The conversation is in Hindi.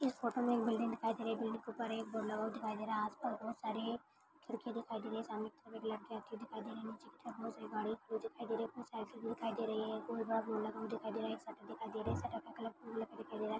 इस फोटो में एक बिल्डिंग दिखाई दे रही है। बिल्डिंग के ऊपर एक बोर्ड लगा हुआ दिखाई दे रहा है। आसपास बहुत सारे खिड़की दिखाई दे रही है। सामने की तरफ एक लड़की आती हुई दिखाई दे रही है। निचे की तरफ बहुत सारी गाडी दिखाई दे रही है। कोई साइड दिखाई दे रही है। कोई गॉगल लगा हुआ दिखाई दे रहा है। एक शटर दिखाई दे रहा है। शटर का कलर दिखाई दे रहा है।